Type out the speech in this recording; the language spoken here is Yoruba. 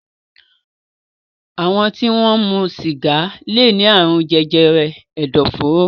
Àwọn tí wọ́n ń mu sìgá lè ní àrùn jẹjẹrẹ ẹ̀dọ̀fóró.